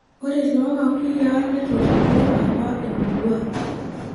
Ore lookakuyiaa netoripo apa emurua.